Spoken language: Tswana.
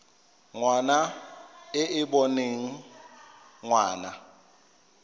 ngwana e e boneng ngwana